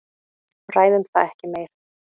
Ræðum það ekki meir.